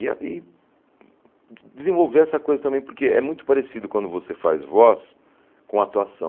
E a e de desenvolver essa coisa também, porque é muito parecido quando você faz voz com atuação.